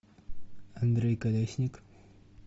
андрей колесник